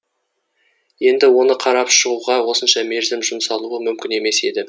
енді оны қарап шығуға осынша мерзім жұмсалуы мүмкін емес еді